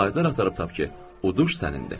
Şahidlər axtarıb tap ki, uduş sənindir.